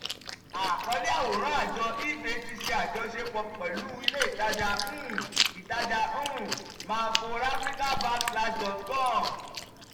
àkọlé àwòrán àjọ ebay ti ṣe àjọṣepọ̀ pẹ̀lú ilé ìtajà um ìtajà um mall for africa dot com